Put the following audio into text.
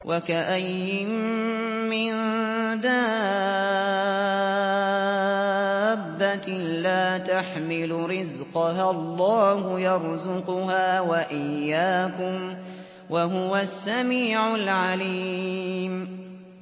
وَكَأَيِّن مِّن دَابَّةٍ لَّا تَحْمِلُ رِزْقَهَا اللَّهُ يَرْزُقُهَا وَإِيَّاكُمْ ۚ وَهُوَ السَّمِيعُ الْعَلِيمُ